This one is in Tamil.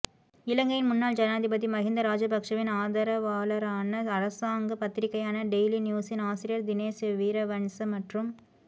இலங்கையின் முன்னாள் ஜனாதிபதி மஹிந்த ராஜபக்சவின் ஆதரவாளரான அரசாங்க பத்திரிகையான டெய்லி நியூஸின் ஆசிரியர் தினேஸ் வீரவன்ச மற்றும்